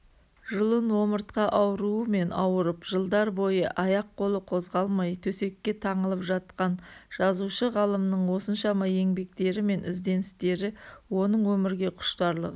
жұлын-омыртқа ауруымен ауырып жылдар бойы аяқ-қолы қозғалмай төсекке таңылып жатқан жазушы-ғалымның осыншама еңбектері мен ізденістері оның өмірге құштарлығы